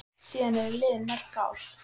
Síðan eru liðin mörg ár.